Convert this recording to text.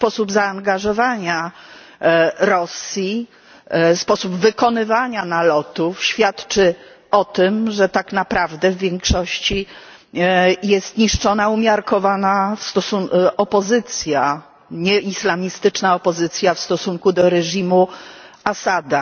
Sposób zaangażowania Rosji, sposób wykonywania nalotów świadczy o tym, że tak naprawdę w większości jest niszczona umiarkowana opozycja, nieislamistyczna opozycja w stosunku do reżimu Asada.